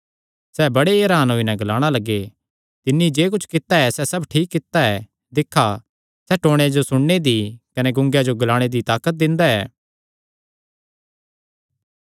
सैह़ बड़े ई हरान होई नैं ग्लाणा लग्गे तिन्नी जे कुच्छ कित्ता सैह़ सब ठीक कित्ता ऐ दिक्खा सैह़ टौणेयां जो सुणने दी कने गूंगेयां जो ग्लाणे दी ताकत दिंदा ऐ